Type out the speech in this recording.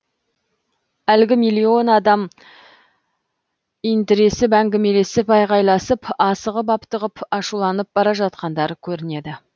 әлгі миллион адам интіресіп әңгімелесіп айғайласып асығып аптығып ашуланып бара жатқандары көрінеді